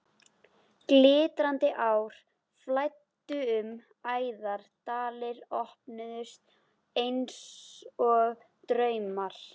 Glitrandi ár flæddu um æðar, dalir opnuðust einsog draumar.